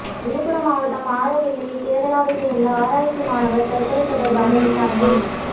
விழுப்புரம் மாவட்டம் ஆரோவில்லில் கேரளாவை சேர்ந்த ஆராய்ச்சி மாணவர் தற்கொலை தொடர்பாக விசாரணை